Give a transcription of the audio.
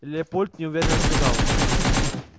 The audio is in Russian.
леопольд неуверенно сказал